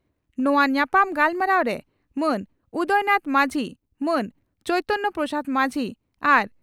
ᱱᱚᱣᱟ ᱧᱟᱯᱟᱢ ᱜᱟᱞᱢᱟᱨᱟᱣ ᱨᱮ ᱢᱟᱱ ᱩᱫᱟᱭᱱᱟᱛᱷ ᱢᱟᱹᱡᱷᱤ ᱢᱟᱱ ᱪᱚᱭᱤᱛᱚᱱᱭᱚ ᱯᱨᱚᱥᱟᱫᱽ ᱢᱟᱹᱡᱷᱤ ᱟᱨ